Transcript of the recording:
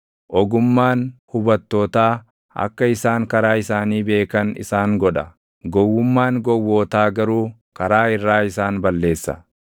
Ogummaan hubattootaa akka isaan karaa isaanii beekan isaan godha; gowwummaan gowwootaa garuu karaa irraa isaan balleessa.